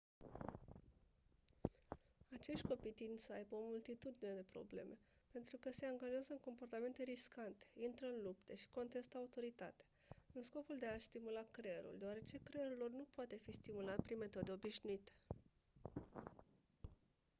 acești copii tind să aibă o multitudine de probleme pentru că «se angajează în comportamente riscante intră în lupte și contestă autoritatea» în scopul de a-și stimula creierul deoarece creierul lor nu poate fi stimulat prin metode obișnuite.